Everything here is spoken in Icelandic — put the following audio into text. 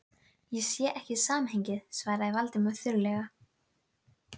arar rólegu en þó spennuþrungnu stundar með kvenna